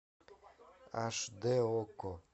аш дэ окко